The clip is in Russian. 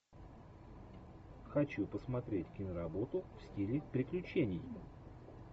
хочу посмотреть киноработу в стиле приключений